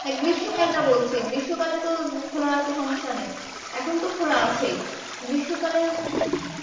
হা গ্রীস্মকাল টা বলছি গ্রীস্মকাল এ তো খোলা রাখতে সমস্যা নাই এখন তো খোলা আছেই গ্রীস্মকালে